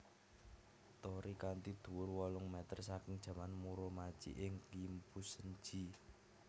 Torii kanthi dhuwur wolung meter saking zaman Muromachi ing Kimpusen ji